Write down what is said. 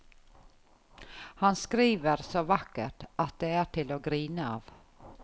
Han skriver så vakkert at det er til å grine av.